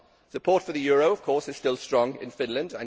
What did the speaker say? Support for the euro, of course, is still strong in Finland.